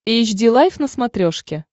эйч ди лайф на смотрешке